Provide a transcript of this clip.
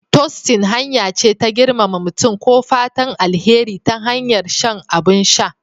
Tostin hanya ce ta girmama mutum ko fatan alheri ta hanyar shan abin sha